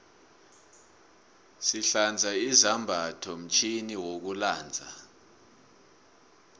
sihlanza izambatho mtjhini wokulanza